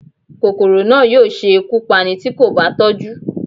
Kòkòrò náà yóò ṣe ikú Pání ti ko ba tọju